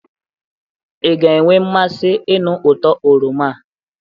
ị ga-enwe mmasi ịnụ uto oroma a?